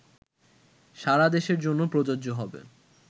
সারাদেশের জন্য প্রযোজ্য হবে